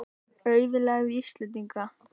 Auðlegð Íslendinga.